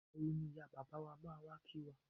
Ìgbàwo ni ìyá bàbá wa máa wà kí wá?